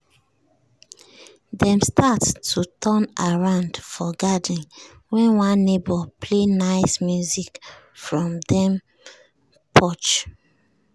dem start to turn around for garden when one neighbor play nice music from dem porch